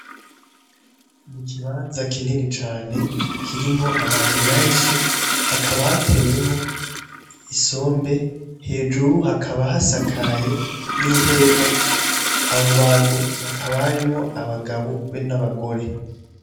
Ikibanza kinini cane kirimwo abantu benshi; hakaba hatewemwo isombe hejuru hakaba hasakaye n'ihema ,abo bantu hakaba harimwo abagabo be n'abagore.